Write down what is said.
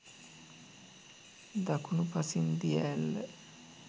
දකුණු පසින් දිය ඇල්ල